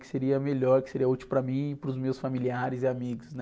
Que seria melhor, que seria útil para mim, para os meus familiares e amigos, né?